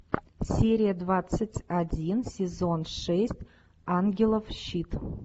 серия двадцать один сезон шесть ангелов щит